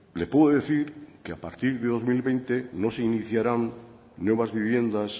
le puedo decir que a partir del dos mil veinte no se iniciarán nuevas viviendas